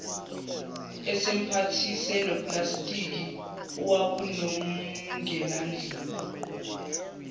esemphathise noplastiki owawunomngenandlini